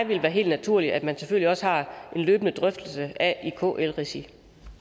ville være helt naturligt at man selvfølgelig også har en løbende drøftelse af i kls regi